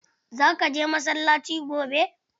Za ka je masallaci gobe?